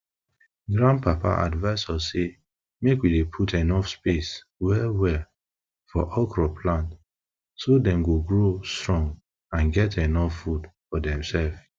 grandpapa advice us say make we dey put space well well for okro plant so dem go grow strong and get enuf food for demsef